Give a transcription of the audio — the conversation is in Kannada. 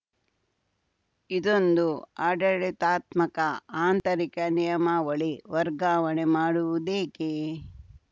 ಇದೊಂದು ಆಡಳಿತಾತ್ಮಕ ಆಂತರಿಕ ನಿಯಮಾವಳಿ ವರ್ಗಾವಣೆ ಮಾಡುವುದೇಕೆ